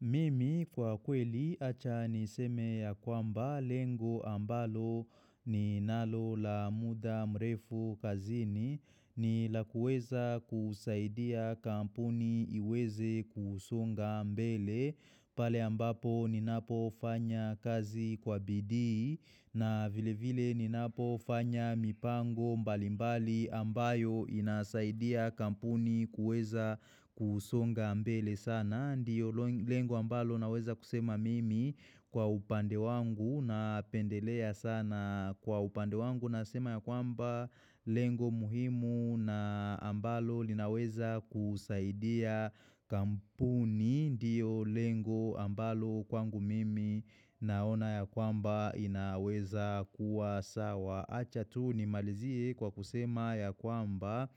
Mimi kwa kweli acha niseme ya kwamba lengo ambalo ni nalo la muda mrefu kazini ni la kuweza kusaidia kampuni iweze kusonga mbele pale ambapo ninapo fanya kazi kwa bidii na vile vile ninapo fanya mipango mbalimbali ambayo inasaidia kampuni kuweza kusonga mbele sana. Ndiyo lengo ambalo naweza kusema mimi kwa upande wangu na pendelea sana kwa upande wangu. Nasema ya kwamba lengo muhimu na ambalo linaweza kusaidia kampuni. Ndiyo lengo ambalo kwangu mimi naona ya kwamba inaweza kuwa sawa. Acha tu ni malizie kwa kusema ya kwamba